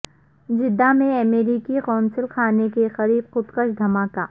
Jeddah میں امریکی قونصل خانے کے قریب خودکش دھماکہ